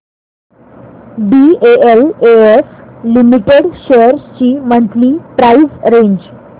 DLF limited shares ची monthly price range